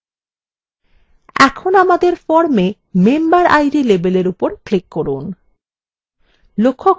এখন আমাদের form memberid label উপর click করুন